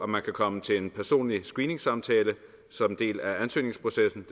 man kan komme til en personlig screeningssamtale som en del af ansøgningsprocessen